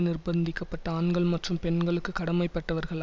நிர்பந்திக்க பட்ட ஆண்கள் மற்றும் பெண்களுக்கு கடமைப்பட்டவர்கள்